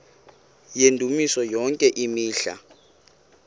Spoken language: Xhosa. yendumiso yonke imihla